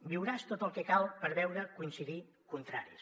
viuràs tot el que cal per veure coincidir contraris